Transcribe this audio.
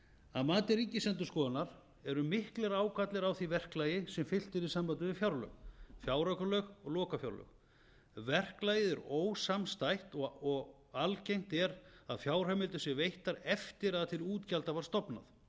að mati ríkisendurskoðunar eru miklir ágallar á því verklagi sem fylgt er í sambandi við fjárlög fjáraukalög og lokafjárlög verklagið er ósamstætt og algengt er að fjárheimildir séu veittar eftir að til útgjalda var stofnað